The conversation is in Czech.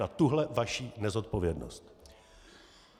Na tuhle vaši nezodpovědnost!